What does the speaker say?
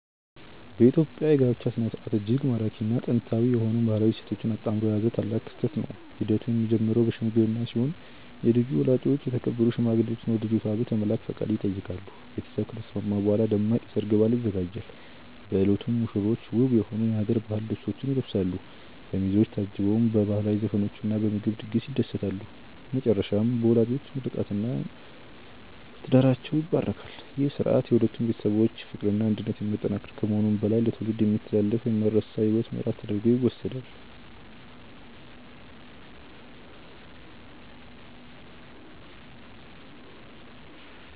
የኢትዮጵያ የጋብቻ ሥነ ሥርዓት እጅግ ማራኪና ጥንታዊ የሆኑ ባህላዊ እሴቶችን አጣምሮ የያዘ ታላቅ ክስተት ነው። ሂደቱ የሚጀምረው በሽምግልና ሲሆን የልጁ ወላጆች የተከበሩ ሽማግሌዎችን ወደ ልጅቷ ቤት በመላክ ፈቃድ ይጠይቃሉ። ቤተሰብ ከተስማማ በኋላ ደማቅ የሰርግ በዓል ይዘጋጃል። በዕለቱም ሙሽሮች ውብ የሆኑ የሀገር ባህል ልብሶችን ይለብሳሉ፤ በሚዜዎች ታጅበውም በባህላዊ ዘፈኖችና በምግብ ድግስ ይደሰታሉ። በመጨረሻም በወላጆች ምርቃትና ምርቃት ትዳራቸው ይባረካል። ይህ ሥርዓት የሁለቱን ቤተሰቦች ፍቅርና አንድነት የሚያጠናክር ከመሆኑም በላይ ለትውልድ የሚተላለፍ የማይረሳ የሕይወት ምዕራፍ ተደርጎ ይወሰዳል።